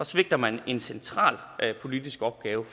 svigter man en central politisk opgave